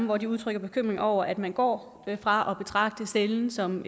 hvor de udtrykker bekymring over at man går fra at betragte cellen som